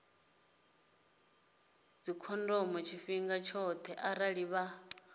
dzikhondomo tshifhinga tshoṱhe arali vha